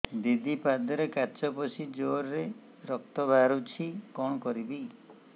ଦିଦି ପାଦରେ କାଚ ପଶି ଜୋରରେ ରକ୍ତ ବାହାରୁଛି କଣ କରିଵି